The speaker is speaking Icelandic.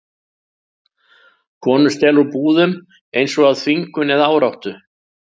Konur stela úr búðum, eins og af þvingun eða áráttu.